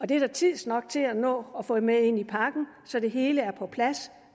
det er der tid nok til at nå at få med ind i pakken så det hele er på plads